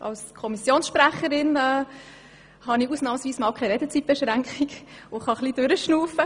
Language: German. Als Kommissionssprecherin habe ich ausnahmsweise einmal keine Redezeitbeschränkung und kann etwas durchatmen.